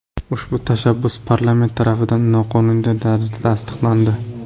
Ushbu tashabbus parlament tarafidan qonuniy tarzda tasdiqlandi.